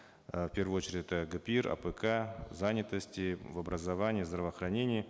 э в первую очередь это гпир апк занятости в образовании в здравоохранении